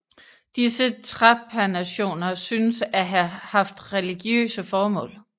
Disse trepanationer synes at have haft religiøse formål